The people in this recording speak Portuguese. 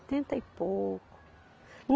tenta e pouco.